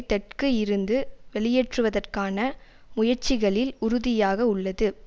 தெற்கு இருந்து வெளியேற்றுவதற்கான முயற்சிகளில் உறுதியாக உள்ளது